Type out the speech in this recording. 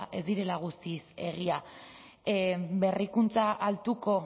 ez direla guztiz egia berrikuntza altuko